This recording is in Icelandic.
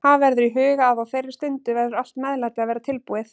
Hafa verður í huga að á þeirri stundu verður allt meðlæti að vera tilbúið.